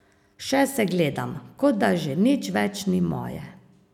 Še se gledam, kot da že nič več ni moje.